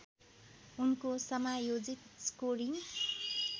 उनको समायोजित स्कोरिङ